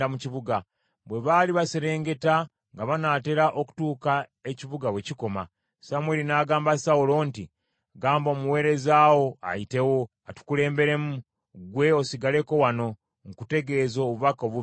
Bwe baali baserengeta nga banaatera okutuuka ekibuga we kikoma, Samwiri n’agamba Sawulo nti, “Gamba omuweereza wo ayitewo, atukulemberemu, gwe osigaleko wano, nkutegeeze obubaka obuva eri Katonda.”